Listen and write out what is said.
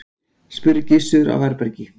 spurði Gizur á varðbergi.